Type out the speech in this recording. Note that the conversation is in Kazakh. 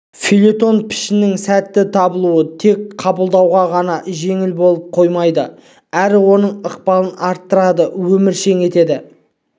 фельетон пішінінің сәтті табылуы тек қабылдауға ғана жеңіл болып қоймайды әрі оның ықпалын арттырады өміршең етеді